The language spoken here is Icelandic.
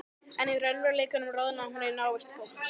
En í raunveruleikanum roðnaði hún í návist fólks.